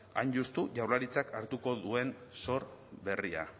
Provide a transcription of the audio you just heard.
hain justu jaurlaritzak hartuko duen zor berria